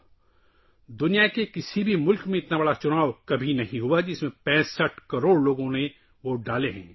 اتنا بڑا الیکشن دنیا کے کسی ملک میں نہیں ہوا، جس میں 65 کروڑ لوگوں نے ووٹ ڈالے